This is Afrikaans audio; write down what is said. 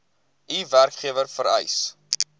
u werkgewer vereis